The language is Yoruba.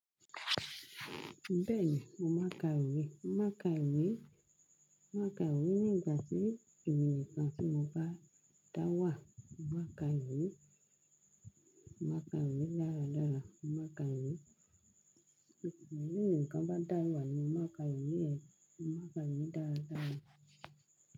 Bẹ́ẹ̀ni, mo máa ka ìwé, mo máa ka ìwé, mo máa ka ìwé nígbà tí èmi nìkan tí mo bá dá wà, mo máa ka ìwé, mo máa ka ìwé dáradára, mo ma ka ìwé. Tèmi nìkan bá dá wà ni máa ka ìwé yẹn, mo ma ka ìwé dáadáa.